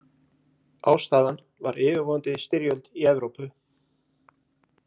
Ástæðan var yfirvofandi styrjöld í Evrópu.